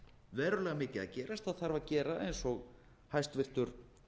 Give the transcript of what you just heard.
verulega mikið að gerast það þarf að gera eins og hæstvirtur